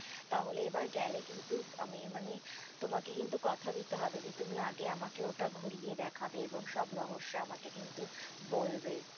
তাহলে এবার গেলে কিন্তু আমি মানে তোমাকে কিন্তু কথা দিতে হবে যে, তুমি আগে আমাকে ওটা ঘুরিয়ে দেখাবে এবং সব রহস্য আমাকে কিন্তু বলবে।